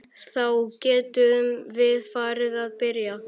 Þá getum við farið að byrja.